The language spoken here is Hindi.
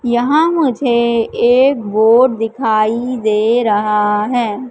यहां मुझे एक बोड दिखाई दे रहा है।